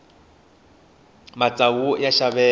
matsavu ya xaveka